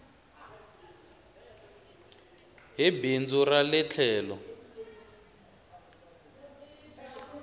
hi bindzu ra le tlhelo